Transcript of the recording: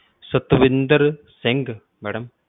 Satwinder Singh madam